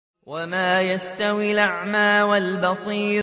وَمَا يَسْتَوِي الْأَعْمَىٰ وَالْبَصِيرُ